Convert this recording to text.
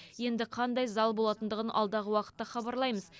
енді қандай зал болатындығын алдағы уақытта хабарлаймыз